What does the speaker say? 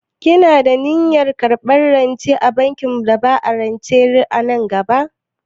Kina da niyyar karɓar rance a bankin bada rance nan gaba?